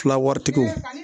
Fila waritigiw